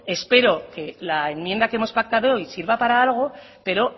espero que la enmienda que hemos pactado sirva para algo pero